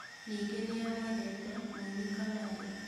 Ningĩ nĩamwendete mũini Kamarũ.